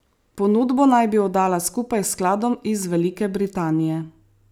Ponudbo naj bi oddala skupaj s skladom iz Velike Britanije.